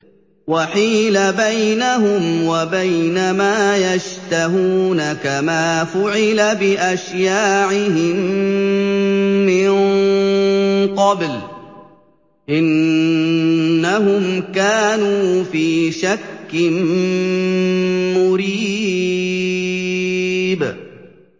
وَحِيلَ بَيْنَهُمْ وَبَيْنَ مَا يَشْتَهُونَ كَمَا فُعِلَ بِأَشْيَاعِهِم مِّن قَبْلُ ۚ إِنَّهُمْ كَانُوا فِي شَكٍّ مُّرِيبٍ